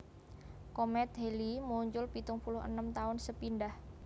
Komèt Halley muncul pitung puluh enem taun sepindhah